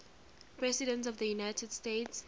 presidents of the united states